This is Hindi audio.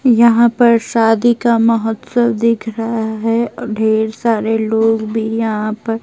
यहां पर शादी का महोत्सव दिख रहा है और ढेर सारे लोग भी यहां पर--